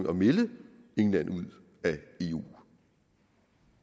at melde england ud af eu